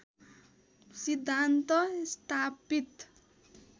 सिद्धान्त स्थापित